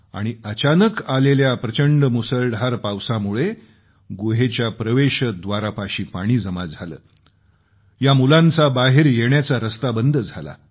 आणि अचानक आलेल्या प्रचंड मुसळधार पावसामुळं गुहेच्या प्रवेशव्दारापाशी पाणी जमा झालं या मुलांचा बाहेर येण्याचा रस्ता बंद झाला